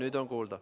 Nüüd on kuulda.